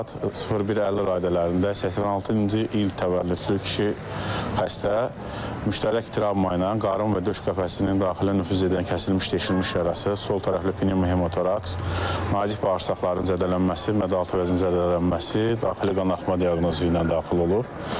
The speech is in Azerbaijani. Saat 01:50 radələrində 86-cı il təvəllüdlü kişi xəstə müştərək travma ilə qarın və döş qəfəsinin daxilə nüfuz edən kəsilmiş deşilmiş yarası, sol tərəfli pnevmotoraks, nazik bağırsaqların zədələnməsi, mədəaltı vəzinin zədələnməsi, daxili qanaxma diaqnozu ilə daxil olub.